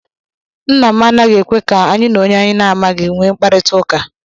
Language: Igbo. Nna m anaghị ekwe ka anyị na onye anyị amaghị nwee mkparịtaụka